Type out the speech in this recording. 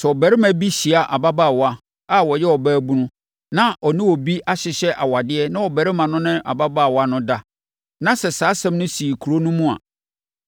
Sɛ ɔbarima bi hyia ababaawa a ɔyɛ ɔbaabunu a ɔne obi ahyehyɛ awadeɛ na ɔbarima no ne ababaawa no da, na sɛ saa asɛm no sii kuro no mu a,